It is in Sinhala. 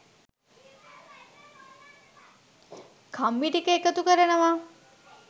කම්බි ටික එකතු කරනවා